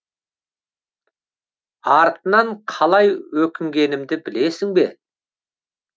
артынан қалай өкінгенімді білесің бе